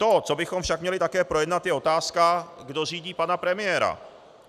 To, co bychom však měli také projednat, je otázka, kdo řídí pana premiéra.